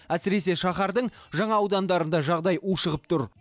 әсіресе шаһардың жаңа аудандарында жағдай ушығып тұр